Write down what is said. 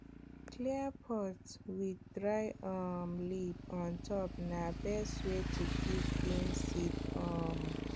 clay pot with dry um leaf on top na best way to keep beans seed um